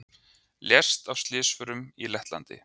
Lést af slysförum í Lettlandi